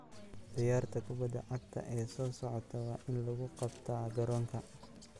Ciyaarta kubbadda cagta ee soo socota waa in lagu qabtaa garoonka.